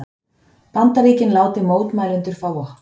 Bandaríkin láti mótmælendur fá vopn